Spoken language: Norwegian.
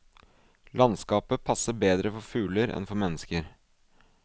Landskapet passer bedre for fugler enn for mennesker.